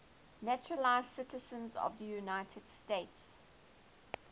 naturalized citizens of the united states